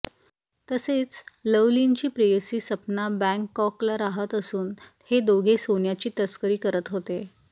तसेच लवलीनची प्रेयसी सपना बँगकॉकला राहत असून हे दोघे सोन्याची तस्करी करत होते